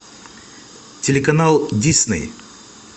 телеканал дисней